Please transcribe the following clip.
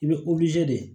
I bɛ de